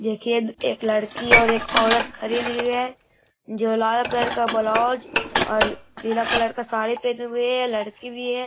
देखिए एक लड़की और एक औरत खरीद रही है जो लाल कलर ब्लाउज और नीला कलर साड़ी पहनी हुई है लड़की भी है।